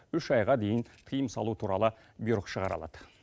үш айға дейін тыйым салу туралы бұйрық шығара алады